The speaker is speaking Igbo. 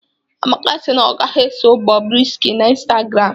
Amaka si na ọ gaghị eso Bobrisky na Instagram